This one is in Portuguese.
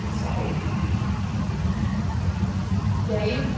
É. Não sai aquilo, viu? E aí o